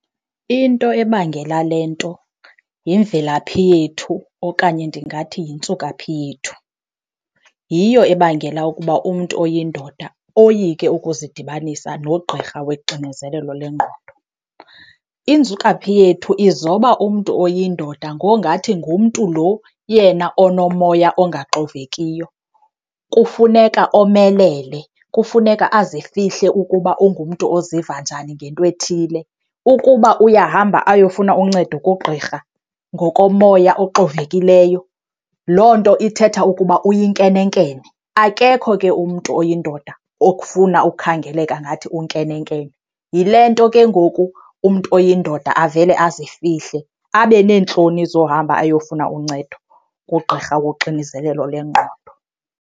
Into ebangela le nto yimvelaphi yethu okanye ndingathi yintsukaphi yethu. Yiyo ebangela ukuba umntu oyindoda oyike ukuzidibanisa nogqirha woxinezelelo lwengqondo. Intsukaphi yethu izoba umntu oyindoda ngongathi ngumntu lo yena onomoya ongaxovekiyo. Kufuneka omelele, kufuneka azifihle ukuba ungumntu oziva njani ngento ethile. Ukuba uyahamba ayofuna uncedo kugqirha ngokomoya oxovekiliyo, loo nto ithetha ukuba uyinkenenkene. Akekho ke umntu oyindoda okufuna ukhangeleka ngathi unkenenkene. Yile nto ke ngoku umntu oyindoda avele azifihle, abe neentloni zohamba ayofuna uncedo kugqirha woxinizelelo lengqondo.